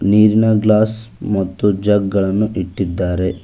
ನೀರಿನ ಗ್ಲಾಸ್ ಮತ್ತು ಜಗ್ ಗಳನ್ನು ಇಟ್ಟಿದ್ದಾರೆ.